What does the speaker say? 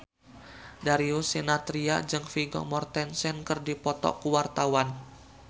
Darius Sinathrya jeung Vigo Mortensen keur dipoto ku wartawan